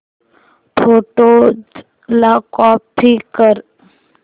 photos ला copy कर